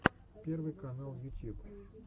первый канал ютьюб